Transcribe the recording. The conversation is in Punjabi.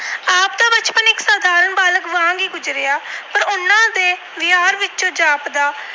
ਵਿੱਚੋਂ ਗੁਜਰਿਆ ਪਰ ਉਹਨਾਂ ਦੇ ਵਿਹਾਰ ਵਿੱਚੋਂ ਜਾਪਦਾ